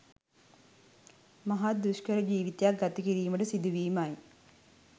මහත් දුෂ්කර ජිවිතයක් ගත කිරීමට සිදු වීමයි.